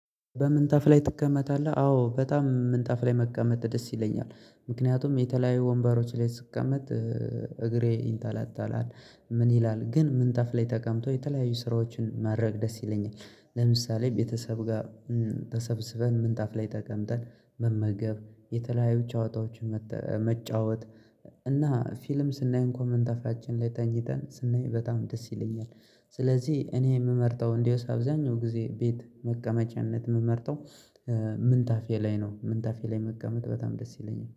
በምንጣፍ ላይ ትቀመጣለህ? አዎ በጣም ምንጣፍ ላይ መቀመጥ ደስ ይለኛል። ምክንያቱም የተለያዩ ወንበሮች ላይ ስቀመጥ እግሬ ይንጠለጠላል። ምን ይላል ግን ምንጣፍ ላይ ተቀምጦ የተለያዩ ስራዎችን ማድረግ ደስ ይለኛል። ለምሳሌ ቤተሰብ ጋር ተሰብስበን ምንጣፍ ላይ ጠቀምጠን መመገብ የተለያዩ ጨዋታዎችን መጫወት እና ፊልም ስናይ እንኳን ምንጣፋችን ላይ ተኝተን ስናይ በጣም ደስ ይለኛል። ስለዚህ እኔ የምመርጠው እንዴውስ አብዛኛው ጊዜ ቤት መቀመጫነት የምመርጠው ምንጣፌ ላይ ነው። ምንጣፌ ላይ መቀመጥ በጣም ደስ ይለኛል